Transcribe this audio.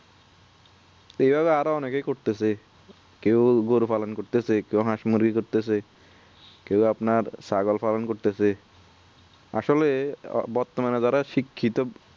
এভাবে আরো অনেকে করতেসে কেউ গরু পালন করতেসে কেউ হাঁস মুরগি করতেসে কেউ আপনার ছাগল পালন করতেসে আসলে বর্তমানে যারা শিক্ষিত